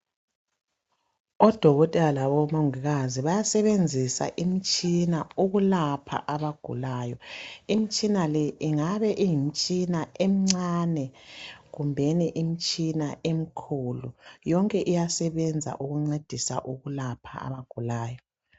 Odokotela labomongikazi bayasebenzisa imitshina ukulapha abagulayo. Imitshina le ingabe iyimitshina emincane kumbeni imitshina emikhulu, yonke iyasebenza ukulapha abagulayo.